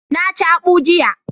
Na ci akpu jiya.